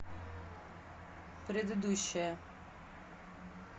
предыдущая